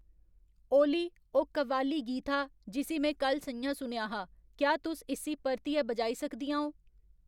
ओली ओह् कव्वाली गीत हा जिस्सी में कल स'ञां सुनेआ हा क्या तुस इस्सी परतियै बजाई सकदियां ओ